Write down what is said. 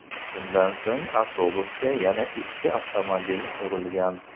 Shundan so‘ng avtobusga yana ikki avtomobil urilgan.